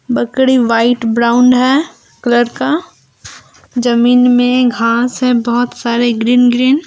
बकड़ी white brown है colour का जमीन में घास है बहुत सारे ग्रीन ग्रीन ।